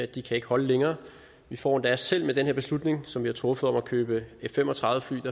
de kan ikke holde længere vi får endda selv med den her beslutning som vi har truffet om at købe f fem og tredive fly et